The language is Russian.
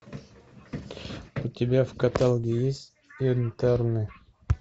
у тебя в каталоге есть интерны